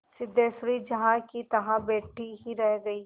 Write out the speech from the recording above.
सिद्धेश्वरी जहाँकीतहाँ बैठी ही रह गई